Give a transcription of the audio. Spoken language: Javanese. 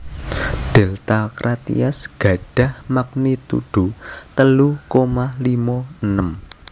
Delta Crateris gadhah magnitudo telu koma limo enem